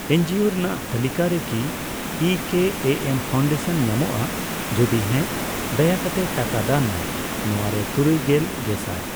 NGO ᱨᱮᱱᱟᱜ ᱛᱟᱞᱤᱠᱟᱨᱮ ᱠᱤ ᱤ ᱠᱮ ᱮ ᱮᱢ ᱯᱷᱟᱣᱩᱱᱰᱟᱥᱚᱱ ᱧᱟᱢᱚᱜᱼᱟ, ᱡᱩᱫᱤ ᱦᱮᱸ ᱫᱟᱭᱟᱠᱟᱛᱮ ᱴᱟᱠᱟ ᱫᱟᱱ ᱢᱮ ᱾ ᱱᱚᱣᱟᱨᱮ ᱛᱩᱨᱩᱭᱜᱮᱞ ᱜᱮᱥᱟᱭ ।